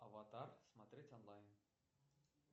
аватар смотреть онлайн